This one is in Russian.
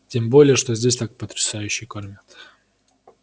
тем более что здесь так потрясающе кормят